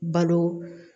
Balo